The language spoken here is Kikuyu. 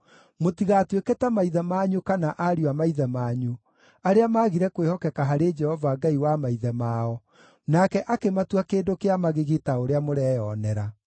Mũtigatuĩke ta maithe manyu kana ariũ a maithe manyu, arĩa maagire kwĩhokeka harĩ Jehova Ngai wa maithe mao, nake akĩmatua kĩndũ kĩa magigi ta ũrĩa mũreyonera.